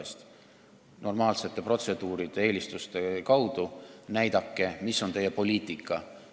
Näidake normaalsete protseduuride ja eelistuste kaudu, mis on teie poliitika!